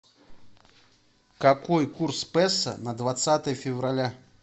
какой курс песо на двадцатое февраля